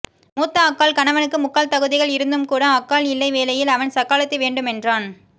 மூத்த அக்காள் கணவனுக்கு முக்கால் தகுதிகள் இருந்தும் கூட அக்காள் இல்லா வேளையிலே அவன் சக்காளத்தி வேண்டுமென்றான்